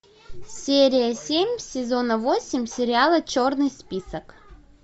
серия семь сезона восемь сериала черный список